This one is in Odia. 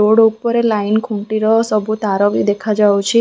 ବୋର୍ଡ ଉପରେ ଲାଇନ ଖୁଣ୍ଟିର ସବୁ ତାର ବି ଦେଖାଯାଉଛି ।